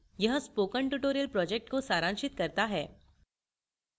यह spoken tutorial project को सारांशित करता है